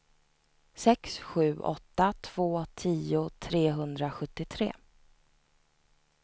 sex sju åtta två tio trehundrasjuttiotre